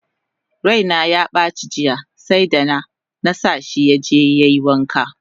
Raina yabaci jiya seda! nasa shi yaje yai wanka!